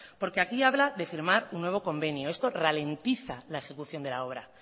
porque aquí habla de firmar un nuevo convenio esto ralentiza la ejecución de la obra